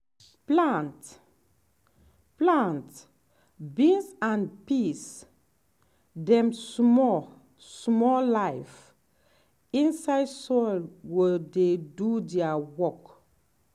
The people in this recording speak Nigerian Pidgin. plant plant beans and peas dem small small life inside soil go dey do their work.